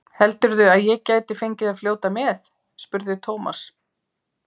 Heldurðu að ég gæti fengið að fljóta með? spurði Thomas.